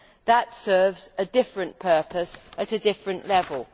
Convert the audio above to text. That serves a different purpose at a different level.